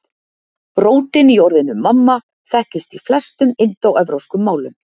Rótin í orðinu mamma þekkist í flestum indóevrópskum málum.